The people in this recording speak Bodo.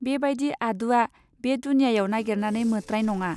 बे बायदि आदुवा बे दुनियायाव नागिरनानै मोत्राय नङा